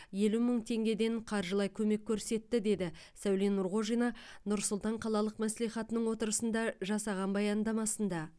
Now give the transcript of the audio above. елу мың теңгеден қаржылай көмек көрсетті деді сәуле нұрғожина нұр сұлтан қалалық мәслихатының отырысында жасаған баяндамасында